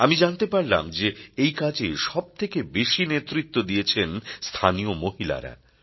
আমি জানতে পারলাম যে এই কাজে সব থেকে বেশি নেতৃত্ব দিয়েছেন স্থানীয় মহিলারা